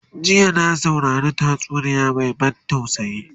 jiya na saurari tatsuniya Mai ban tausayi